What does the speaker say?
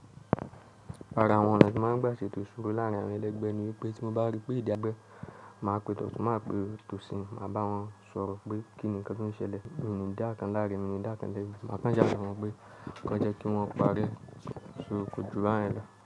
Rárá, àwọn ọ̀nà ti ma ń gbà ṣè tó ìṣòro láàárín àwọn ẹlẹgbẹ́ ni pé tí mo bá ri pé ìdá ẹgbẹ́, màá pe tọ̀tun, màá pe tòsì, màá bá wọn sọ̀rọ̀ pé kíni nǹkan tó ń ṣẹlẹ̀, mi ò ní dá ọ̀kan láre, mi ò ní dá ọ̀kan lẹ́bi, màá kàn sá à sọ fún wọn pé kán w jẹ́ kí wọ́n parí ẹ̀, so kòjù báyẹn lọ.